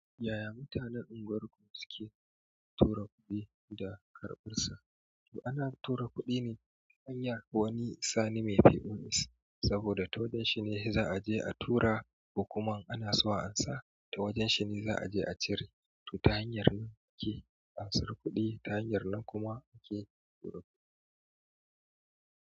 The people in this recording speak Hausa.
Yaya mutanen unguwarku suke tura kuɗi da karɓarsa? To ana tura kuɗi ne ta hanyar wani sani mai POS saboda ta wajen shi ne za a je a tura, ko kuma in ana so amsa, ta wajen shi ne za a je a cire. To ta hanyar ne muke ansar kuɗi, ta hanyar nan kuma muke turo kuɗi.